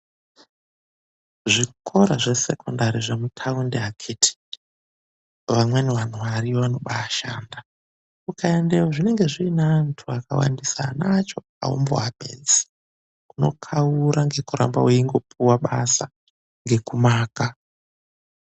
Zvikora zvesekondari zvemutaundi akithi vamweni vanhu variyo vanobaashanda. Ungaendayo zvinenge zvine antu akawandisa. Ana acho haumboapedzi unokaura ngekuramba weingopiwa basa, ngekumaka.